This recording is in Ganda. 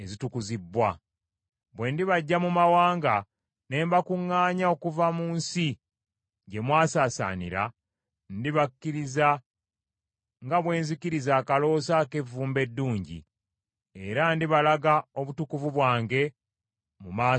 Bwe ndibaggya mu mawanga ne mbakuŋŋaanya okuva mu nsi gye mwasaasaanira, ndibakkiriza nga bwenzikiriza akaloosa ak’evvumbe eddungi, era ndibalaga obutukuvu bwange mu maaso g’amawanga.